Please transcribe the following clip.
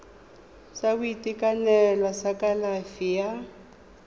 sa boitekanelo sa kalafi ya